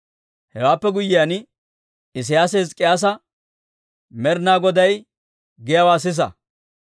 Hewaappe guyyiyaan, Isiyaasi Hizk'k'iyyaasa, «Med'ina Goday giyaawaa sisa.